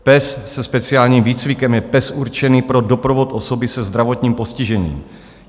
Pes se speciálním výcvikem je pes určený pro doprovod osoby se zdravotním postižením.